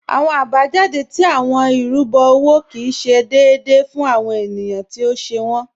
Awọn abajáde tí awọn irúbo owó kí ì ṣé déèdé fún awọn ènìyàn tí ó ṣè wọn.